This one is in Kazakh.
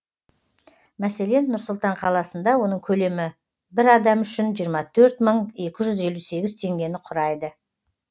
мәселен нұр сұлтан қаласында оның көлемі бір адам үшін жиырма төрт мың екі жүз елу сегіз теңгені құрайды